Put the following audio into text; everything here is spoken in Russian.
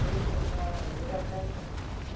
поедем на заря каменная